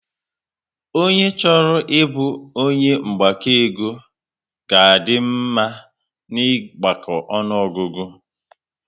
Ọnye chọrọ ịbụ onye mgbakọ ego ga a dị mma na ịgbako ọnụọgụgụ